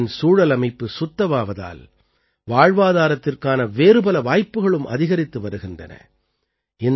கங்கையின் சூழலமைப்பு சுத்தமாவதால் வாழ்வாதாரத்திற்கான வேறுபல வாய்ப்புகளும் அதிகரித்து வருகின்றன